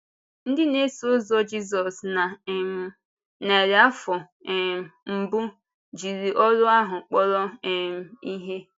Ndị na-eso ụzọ Jízọs na um narị afọ um mbụ jiri ọrụ ahụ kpọrọ um ihe.